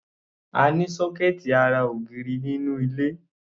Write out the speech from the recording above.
A ní sọ́kẹ́ẹ̀tì ará ògiri nínú ilé.